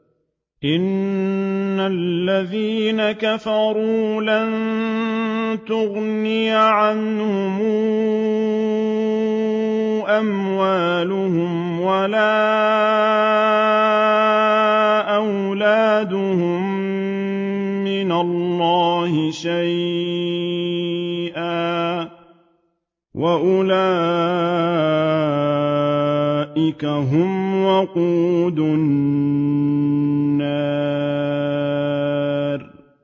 إِنَّ الَّذِينَ كَفَرُوا لَن تُغْنِيَ عَنْهُمْ أَمْوَالُهُمْ وَلَا أَوْلَادُهُم مِّنَ اللَّهِ شَيْئًا ۖ وَأُولَٰئِكَ هُمْ وَقُودُ النَّارِ